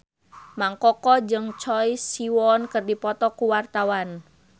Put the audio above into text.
Mang Koko jeung Choi Siwon keur dipoto ku wartawan